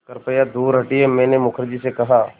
कृपया दूर हटिये मैंने मुखर्जी से कहा